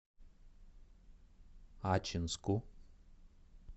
ачинску